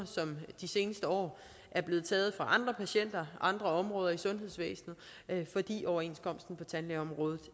som de seneste år er blevet taget fra andre patienter andre områder i sundhedsvæsenet fordi overenskomsten på tandlægeområdet